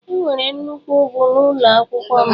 Enwere nnukwu ugwu n'ụlọ akwụkwọ m.